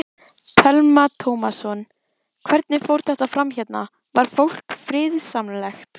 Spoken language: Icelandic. Telma Tómasson: Hvernig fór þetta fram hérna, var fólk friðsamlegt?